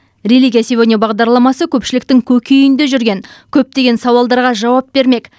религия сегодня бағдарламасы көпшіліктің көкейінде жүрген көптеген сауалдарға жауап бермек